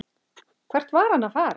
Hvert var hann að fara?